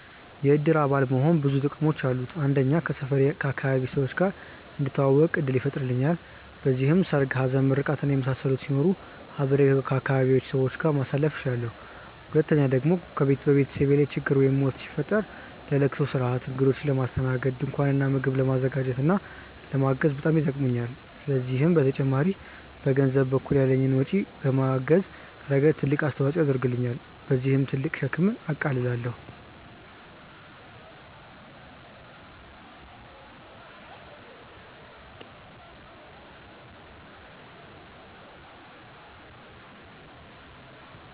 የእድር አባል መሆን ብዙ ጥቅሞች አሉት። አንደኛ ከሰፈሬ/ አካባቢዬ ሰዎች ጋር እንድተዋወቅ እድል ይፈጥርልኛል። በዚህም ሰርግ፣ ሀዘን፣ ምርቃት እና የመሳሰሉት ሲኖሩ አብሬ ከአካባቢዬ ሰዎች ጋር ማሳለፍ እችላለሁ። ሁለተኛ ደግሞ በቤተሰቤ ላይ ችግር ወይም ሞት ቢፈጠር ለለቅሶ ስርአት፣ እግዶችን ለማስተናገድ፣ ድንኳን እና ምግብ ለማዘጋጀት እና ለማገዝ በጣም ይጠቅሙኛል። ከዚህም በተጨማሪ በገንዘብ በኩል ያለኝን ወጪ በማገዝ ረገድ ትልቅ አስተዋፅኦ ያደርግልኛል። በዚህም ትልቅ ሸክምን አቃልላለሁኝ።